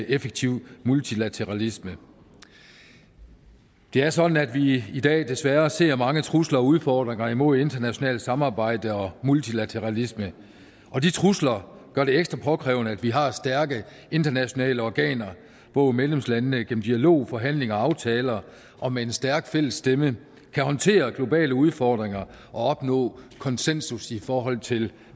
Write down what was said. effektiv multilateralisme det er sådan at vi i dag desværre ser mange trusler og udfordringer imod internationalt samarbejde og multilateralisme og de trusler gør det ekstra påkrævet at vi har stærke internationale organer hvor medlemslandene gennem dialog forhandling og aftaler og med en stærk fælles stemme kan håndtere globale udfordringer og opnå konsensus i forhold til